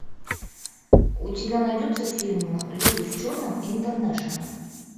у тебя найдется фильм люди в черном интернешнл